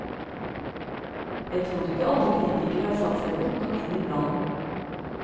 Jeg tror ikke alle kritikere har satt seg godt nok inn i planen.